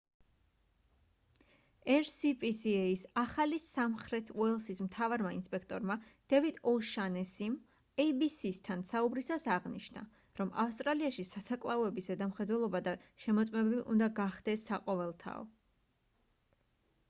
rspca-ს ახალი სამხრეთ უელსის მთავარმა ინსპექტორმა დევიდ ო'შანესიმ abc-სთან საუბრისას აღნიშნა რომ ავსტრალიაში სასაკლაოების ზედამხედველობა და შემოწმებები უნდა გახდეს საყოველთაო